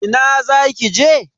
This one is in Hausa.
Ina za ki je?